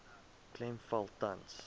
klem val tans